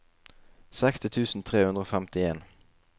seksti tusen tre hundre og femtien